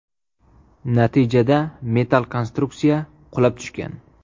Natijada metall konstruksiya qulab tushgan.